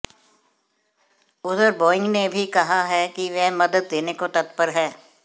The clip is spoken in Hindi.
उधर बोइंग ने भी कहा है कि वह मदद देने को तत्पर है